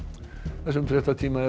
þessum fréttatíma er